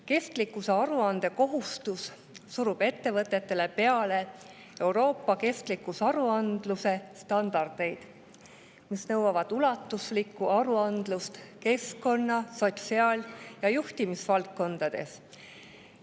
Kestlikkusaruande kohustus surub ettevõtetele peale Euroopa kestlikkusaruandluse standardeid, mis nõuavad ulatuslikku aruandlust keskkonna‑, sotsiaal‑ ja juhtimisvaldkondades.